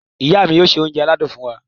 Ìyá mi yóò ṣe oúnjẹ aládùn fún wa.